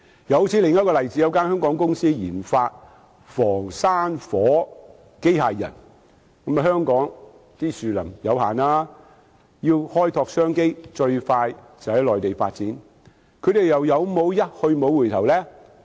又正如另一個例子，有一間香港公司研發防山火機械人，但香港的樹林面積有限，要開拓商機，最快便是在內地發展，他們又有否一去不回首呢？